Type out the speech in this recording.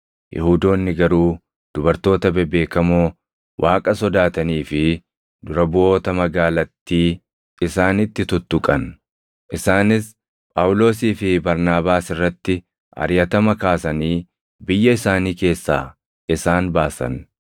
Yihuudoonni garuu dubartoota bebeekamoo Waaqa sodaatanii fi dura buʼoota magaalattii isaanitti tuttuqan; isaanis Phaawulosii fi Barnaabaas irratti ariʼatama kaasanii biyya isaanii keessaa isaan baasan.